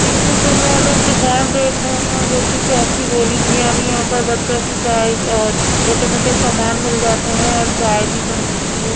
इस चित्र में हमें दुकान देख रहे हैं जोकि टॉफी गोली की है यानी यहां पर बच्चों की चाय अ छोटे मोटे सामान मिल जाते हैं और चाय भी बन मिलती है।